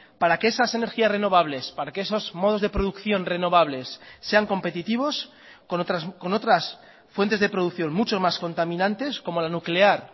para que esas energías renovables para que esos modos de producción renovables sean competitivos con otras fuentes de producción mucho más contaminantes como la nuclear